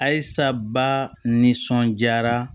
Ayisaba nisɔndiyara